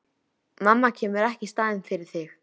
Mamma kemur ekki í staðinn fyrir þig.